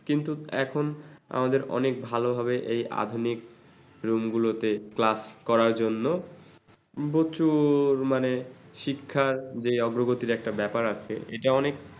কিন্তু এখন আমাদের অনেক ভালোভাবে এই আধুনিক room গুলোতে class করার জন্য প্রচুর মানে শিক্ষার যে অগ্রগতির যে ব্যাপার আছে সেটা অনেক